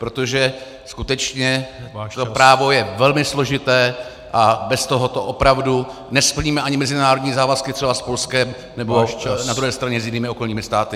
Protože skutečně to právo je velmi složité a bez tohoto opravdu nesplníme ani mezinárodní závazky třeba s Polskem, nebo na druhé straně s jinými okolními státy.